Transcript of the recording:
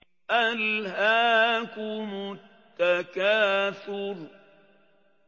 أَلْهَاكُمُ التَّكَاثُرُ